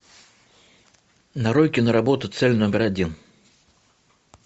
нарой киноработу цель номер один